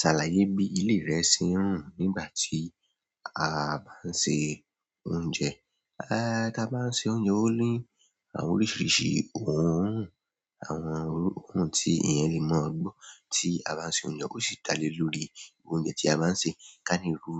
Sàlàyé bi ilé rẹ ń ṣe rùn nígbà ti a bá ń se oúnjẹ. A bá ń ṣe oúnjẹ, ó ní àwọn oríṣiríṣi oòrùn, àwọn ohun tí èèyàn lè mọ̀ gbó tí a bá ń ṣe oúnjẹ ó sì dá lé lórí oúnjẹ tí a bá ń ṣe. Ká ní ru